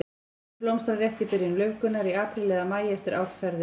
Öspin blómstrar rétt í byrjun laufgunar, í apríl eða maí eftir árferði.